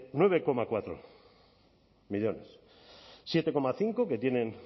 nueve coma cuatro millónes siete coma cinco que tienen